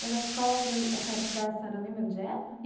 Mas a escola onde a senhora estudava, a senhora lembra onde é?